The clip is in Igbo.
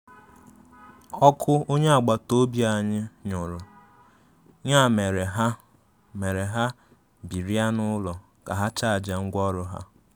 Ọkụ onye akpataobia anyị nurụ, ya mere ha mere ha birịa n'ụlọ ka ha chajịa ngwaọrụ ha.